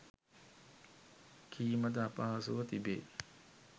කීමද අපහසුව තිබේ.